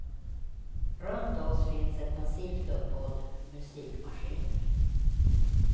Runt oss finns ett massivt uppbåd musikmaskiner.